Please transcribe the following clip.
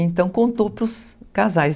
Então, contou para os casais.